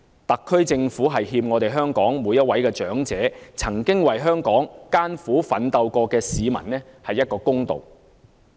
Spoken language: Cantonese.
特區政府欠香港每位長者、曾經為香港艱苦奮鬥過的市民一個公道。